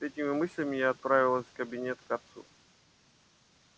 с этими мыслями я отправилась в кабинет к отцу